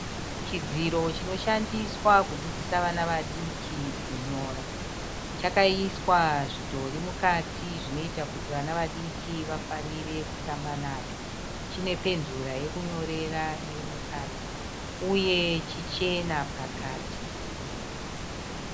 Chidziro chinoshandiswa kudzidzisa vana vadiki kunyora. Chakaiswa zvidhori mukati zvinoita kuti vana vadiki vafarire kutamba nacho. Chine penzura yekunyorera iri mukati uye chichena pakati.